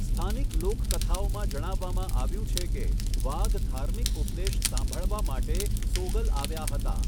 સ્થાનિક લોકકથાઓમાં જણાવવામાં આવ્યું છે કે, વાઘ ધાર્મિક ઉપદેશ સાંભળવા માટે સોગલ આવ્યા હતા.